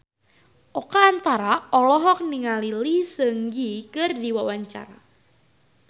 Oka Antara olohok ningali Lee Seung Gi keur diwawancara